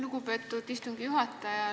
Lugupeetud istungi juhataja!